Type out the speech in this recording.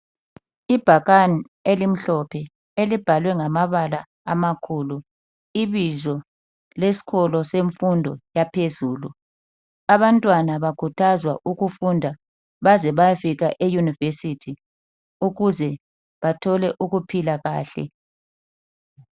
Ibhakane elimhlophe elibhalwe ngama bala amakhulu ibizo leskolo semfundo yaphezulu. Abantwana bakhuthazwa ukufunda baze baye fika e university. Ukuze bathole ukuphila kahle.